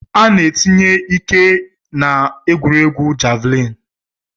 Ana etinye ike-ike na egwuregwu javlin.